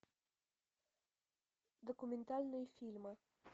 документальные фильмы